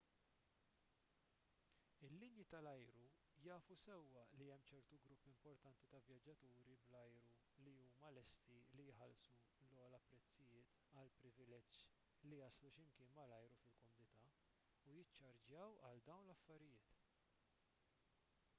il-linji tal-ajru jafu sewwa li hemm ċertu grupp importanti ta' vjaġġaturi bl-ajru li huma lesti li jħallsu l-ogħla prezzijiet għall-privileġġ li jaslu xi mkien malajr u fil-kumdità u jiċċarġjaw għal dawn l-affarijiet